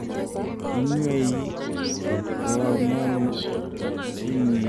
inywei ketoonoonchiniintet ak biik alak chito netindai myanta ab kayweet